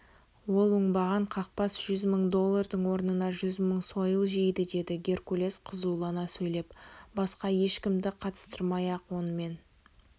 ол оңбаған қақбас жүз мың доллардың орнына жүз мың сойыл жейді деді геркулес қызулана сөйлеп басқа ешкімді қатыстырмай-ақ онымен